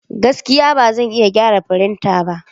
Gaskiya! Ba zan iya gyara firinta ba.